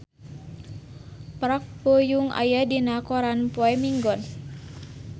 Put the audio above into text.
Park Bo Yung aya dina koran poe Minggon